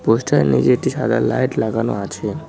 পোস্টারের নিচে একটি সাদা লাইট লাগানো আছে।